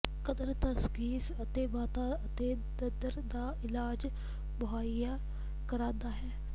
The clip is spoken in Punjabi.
ਕਦਰ ਤਸ਼ਖੀਸ ਅਤੇ ਮਾਦਾ ਅਤੇ ਨਰ ੰਧ ਦਾ ਇਲਾਜ ਮੁਹੱਈਆ ਕਰਦਾ ਹੈ